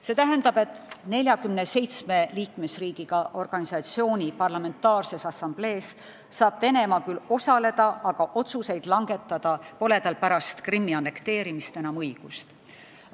See tähendab, et 47 liikmesriigiga organisatsiooni parlamentaarses assamblees saab Venemaa küll osaleda, aga otsuseid langetada pole tal pärast Krimmi annekteerimist enam õigust.